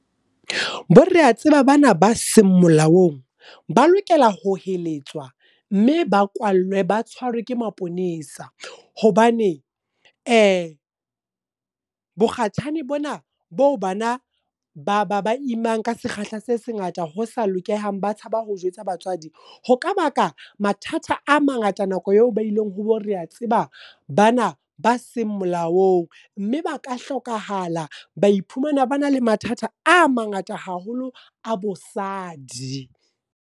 Bo re a tseba bana ba seng molaong. Ba lokelwa ho heletswa, mme ba kwallwe ba tshwarwe ke maponesa. Hobane bokgashane bona boo bana ba ba imang ka sekgahla se sengata ho sa lokehang, ba tshaba ho jwetsa batswadi. Ho ka baka mathata a mangata nakong eo ba ileng ho bo re a tseba, bana ba seng molaong. Mme ba ka hlokahala, ba iphumana ba na le mathata a mangata haholo a bosadi.